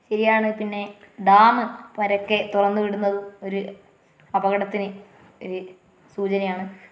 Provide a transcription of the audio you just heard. ശരിയാണ് പിന്നെ ഡാമു പരൊക്കെ തുറന്നു വിടുന്നതും ഒരു അപകടത്തിന് ഒരു സൂചനയാണ്.